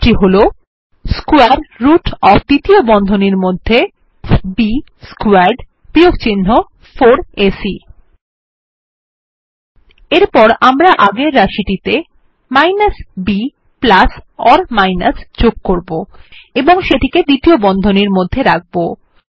mark up টি হল স্কোয়ারে রুট ওএফ দ্বিতীয় বন্ধনীর মধ্যে b স্কোয়ার্ড 4এসি এরপর আমরা আগের রাশিটিতে minus b plus or minus যোগ করবো এবং সেটিকে দ্বিতীয় বন্ধনীর মধ্যে রাখব